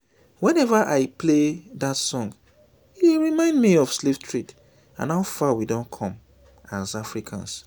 whenever i play dat song e dey remind me of slave trade and how far we don come as africans